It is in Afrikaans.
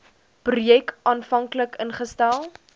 projek aanvanklik ingestel